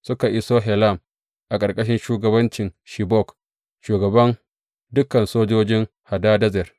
Suka iso Helam a ƙarƙashin shugabancin Shobak, shugaban dukan sojojin Hadadezer.